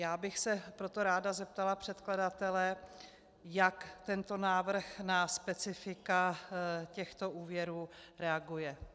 Já bych se proto ráda zeptala předkladatele, jak tento návrh na specifika těchto úvěrů reaguje.